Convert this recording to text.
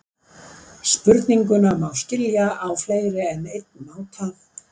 Spurninguna má skilja á fleiri en einn máta.